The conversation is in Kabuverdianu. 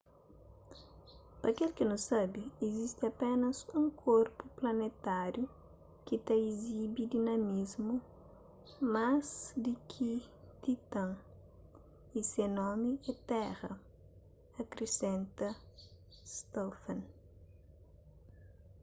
pa kel ki nu sabe izisti apénas un korpu planetáriu ki ta izibi dinamismu más di ki titã y se nomi é tera akrisenta stofan